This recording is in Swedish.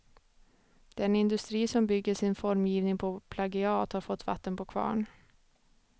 Den industri som bygger sin formgivning på plagiat har fått vatten på kvarn.